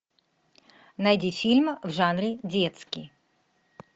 найди фильм в жанре детский